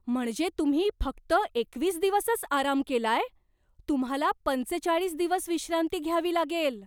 म्हणजे तुम्ही फक्त एकवीस दिवसच आराम केलाय? तुम्हाला पंचेचाळीस दिवस विश्रांती घ्यावी लागेल.